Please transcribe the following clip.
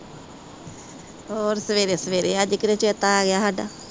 ਹੋਰ ਸਵੇਰੇ-ਸਵੇਰੇ ਅੱਜ ਕਿਵੇਂ ਚੇਤਾ ਆ ਗਿਆ ਸਾਡਾ।